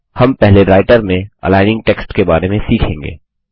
हम पहले राइटर में अलाइनिंग टेक्स्ट के बारे में सीखेंगे